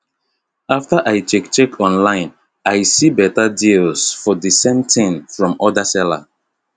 after i check check online i see better deals for the same thing from other seller